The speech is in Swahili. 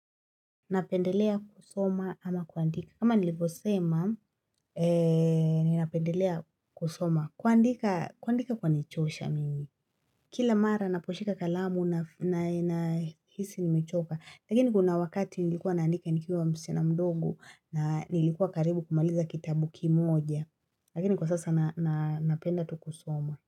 Napendelea kusoma ama kuandika? Kama nilivyo sema, eeenh ninapendelea kusoma. Kuandika kuandika kwanichosha mimi. Kila mara naposhika kalamu na na nahisi nimechoka. Lakini kuna wakati nilikuwa naandika nikiwa msichana mdogo, na nilikuwa karibu kumaliza kitabu kimoja. Lakini kwa sasa na na napenda tu kusoma.